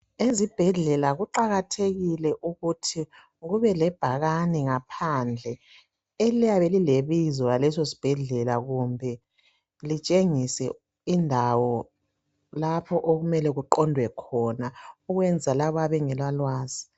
Ezibhedlela kuqakathekile ukuthi kube lebhakane phandle eliyabe lilebizo laleso sibhedlela kumbe litshengise indawo lapho okumele kuqondwe khona ukwenzela labo abangela lwazi